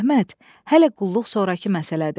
Əhməd, hələ qulluq sonrakı məsələdir.